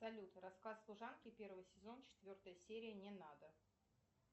салют рассказ служанки первый сезон четвертая серия не надо